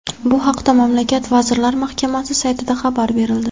Bu haqda mamlakat vazirlar mahkamasi saytida xabar berildi .